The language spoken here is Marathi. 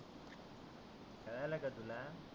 कळालंं का तुला?